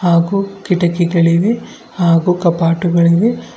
ಹಾಗೂ ಕಿಟಕಿಗಳಿವೆ ಹಾಗೂ ಕಪಾಟು ಗಳಿವೆ.